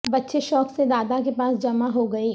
بچے شوق سے دادا کے پاس جمع ہو گئے